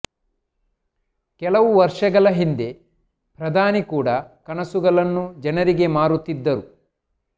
ಕೆಲ ವರ್ಷಗಳ ಹಿಂದೆ ಪ್ರಧಾನಿ ಕೂಡ ಕನಸುಗಳನ್ನು ಜನರಿಗೆ ಮಾರುತ್ತಿದ್ದರು